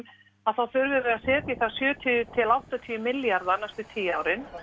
þá þurfum við að setja í það sjötíu til áttatíu milljarða á næstu tíu árum